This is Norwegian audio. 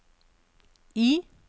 I